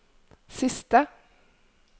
siste